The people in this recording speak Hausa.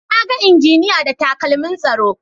Na ga injiniya da takalmin tsaro.